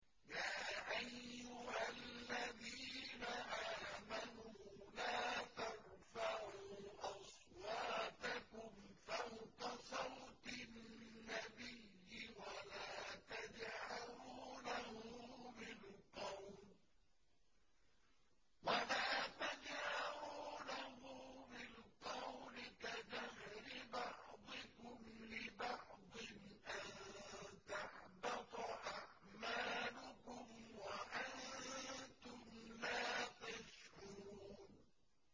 يَا أَيُّهَا الَّذِينَ آمَنُوا لَا تَرْفَعُوا أَصْوَاتَكُمْ فَوْقَ صَوْتِ النَّبِيِّ وَلَا تَجْهَرُوا لَهُ بِالْقَوْلِ كَجَهْرِ بَعْضِكُمْ لِبَعْضٍ أَن تَحْبَطَ أَعْمَالُكُمْ وَأَنتُمْ لَا تَشْعُرُونَ